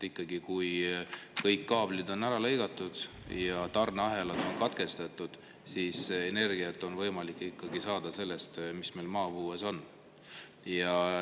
Kui ikka kõik kaablid on katki lõigatud ja tarneahelad on katkestatud, siis energiat on võimalik saada sellest, mis meil maapõues on.